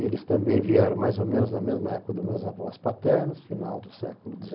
Eles também vieram mais ou menos na mesma época dos meus avós paternos, final do século